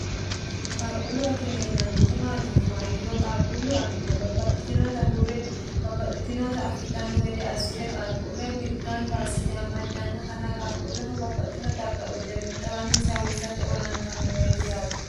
qaaqquullu akime yinaanniti maati yinummoha ikkiro qaaqquullu akime babbaxxitinoota hurre babbaxxitinoota afidhanno gede assite qaaquulle gamibba assite amaddannotanna qaaquulleho babbaxxinota xaga uyite xiwanissanni hursate olantannoreeti yaate